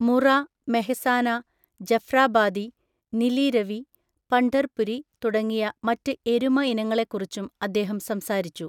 മുറ, മെഹ്സാന, ജഫ്രാബാദി, നിലി രവി, പണ്ഡര്പുരി തുടങ്ങിയ മറ്റ് എരുമ ഇനങ്ങളെക്കുറിച്ചും അദ്ദേഹം സംസാരിച്ചു.